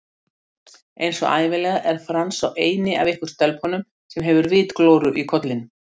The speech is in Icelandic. Einsog ævinlega er Franz sá eini af ykkur stelpunum sem hefur vitglóru í kollinum